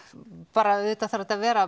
bara auðvitað þarf þetta að vera